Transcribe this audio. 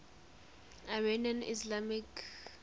iranian ismailis